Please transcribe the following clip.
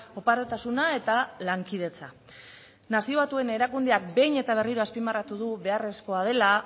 oparotasuna eta lankidetza nazio batuen erakundeak behin eta berriro azpimarratu du beharrezkoa dela